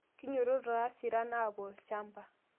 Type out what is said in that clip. Kinyototo taasiran apuo lshamba